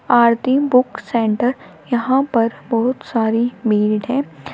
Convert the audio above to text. आरती book centre यहां पर बहुत सारी भीड़ है।